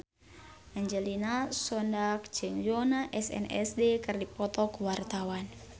Angelina Sondakh jeung Yoona SNSD keur dipoto ku wartawan